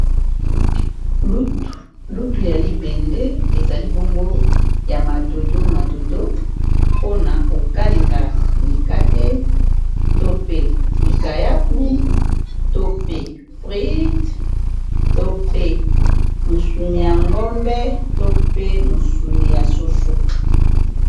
lutu ya libende eza libongo ya madodo madodo mpona kokalenga mikate to pe likayabu to pe fred to pe mosuni ya ngombe to pe mosuni ya soso